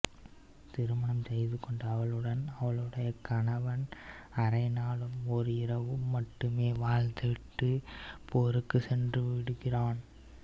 திருமணம் செய்துகொண்ட அவளுடன் அவளுடைய கணவன் அரை நாளும் ஒரு இராவும் மட்டுமே வாழ்ந்துவிட்டு போருக்குச் சென்றுவிடுகிறான்